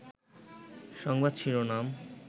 সংবাদ শিরোনাম